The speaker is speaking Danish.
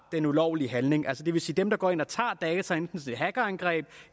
den ulovlige handling altså det vil sige dem der går ind og tager data enten i hackerangreb